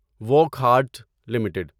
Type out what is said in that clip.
Wockhardt limited